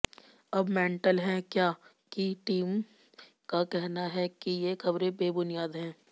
अब मेंटल है क्या की टीम का कहना है कि ये खबरें बेबुनियाद हैं